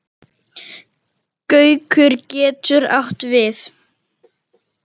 Gaukur getur átt við